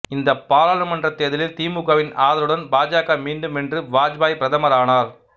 இந்த பாராளமன்ற தேர்தலில் திமுகவின் ஆதரவுடன் பாஜக மீண்டும் வென்று வாஜ்பாய் பிரதமர் ஆனார்